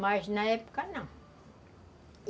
Mas na época não.